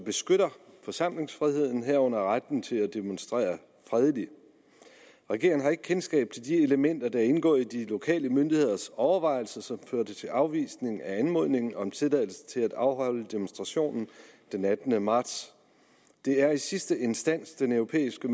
beskytter forsamlingsfriheden herunder retten til at demonstrere fredeligt regeringen har ikke kendskab til de elementer der er indgået i de lokale myndigheders overvejelser som førte til afvisning af anmodningen om tilladelse til at afholde demonstrationen den attende marts det er i sidste instans den europæiske